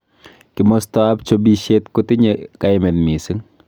Kimosta ab chobishet kotinye kaimet mising.